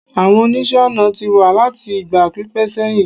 àwọn oníṣe ọnà ti wa lati igba pipẹ seyin